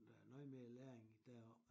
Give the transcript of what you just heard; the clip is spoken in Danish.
Der er noget mere læring deroppe